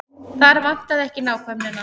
Þar vantaði ekki nákvæmnina.